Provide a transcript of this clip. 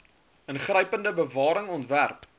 ingrypende bewaring ontwerp